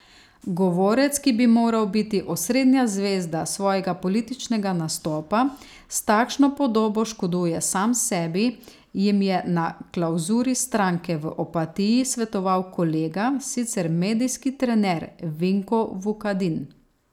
Govorec, ki bi moral biti osrednja zvezda svojega političnega nastopa, s takšno podobo škoduje sam sebi, jim je na klavzuri stranke v Opatiji svetoval kolega, sicer medijski trener Vinko Vukadin.